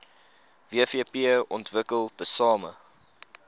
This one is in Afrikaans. wvp ontwikkel tesame